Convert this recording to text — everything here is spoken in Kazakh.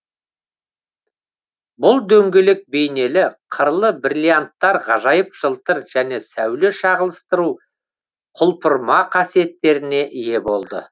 бұл дөңгелек бейнелі қырлы бриллианттар ғажайып жылтыр және сәуле шағылыстыру құлпырма қасиеттеріне ие болды